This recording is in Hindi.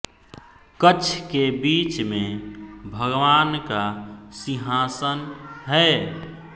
कक्ष के बीच में भगवान का सिंहासन है